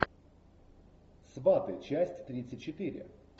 сваты часть тридцать четыре